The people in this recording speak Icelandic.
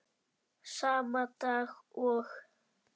Sama dag og